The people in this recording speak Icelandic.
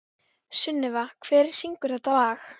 Sunneva, hver syngur þetta lag?